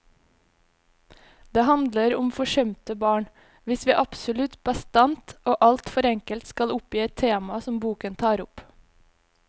Det handler om forsømte barn, hvis vi absolutt bastant og alt for enkelt skal oppgi et tema som boken tar opp.